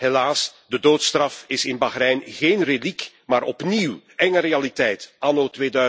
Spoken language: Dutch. Helaas, de doodstraf is in Bahrein geen reliek, maar opnieuw enge realiteit anno